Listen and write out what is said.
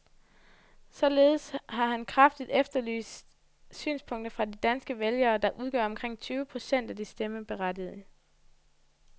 Således har han kraftigt efterlyst synspunkter fra de danske vælgere, der udgør omkring tyve procent af de stemmeberettigede.